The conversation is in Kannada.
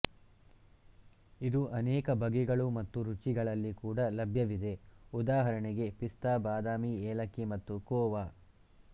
ಇದು ಅನೇಕ ಬಗೆಗಳು ಮತ್ತು ರುಚಿಗಳಲ್ಲಿ ಕೂಡ ಲಭ್ಯವಿದೆ ಉದಾಹರಣೆಗೆ ಪಿಸ್ತಾ ಬಾದಾಮಿ ಏಲಕ್ಕಿ ಮತ್ತು ಖೋವಾ